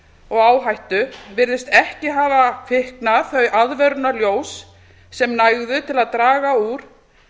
og áhættu virðast ekki hafa kviknað þau aðvörunarljós sem nægðu til að draga úr